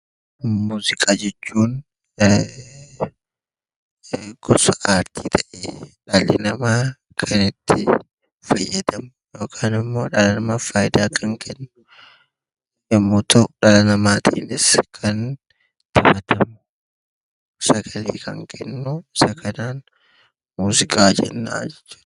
Muuziqaa jechuun gosa artii ta'ee, dhalli namaa kan itti fayyadamu yookaan ammoo dhala namaaf faayidaa kan kennu yommuu ta'u, dhala namaatiinis kan taphatamu, sagalee kan kennu isa kanaan muuziqaa jenna jechuudha.